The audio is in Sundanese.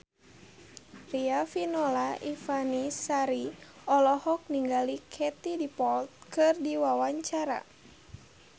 Riafinola Ifani Sari olohok ningali Katie Dippold keur diwawancara